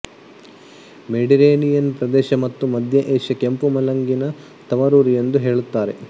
Mediterranean ಪ್ರದೇಶ ಮತ್ತು ಮಧ್ಯ ಏಷ್ಯಾ ಕೆಂಪು ಮುಲಂಗಿನ ತವರೂರು ಎಂದು ಹೇಳುತ್ತಾರೆ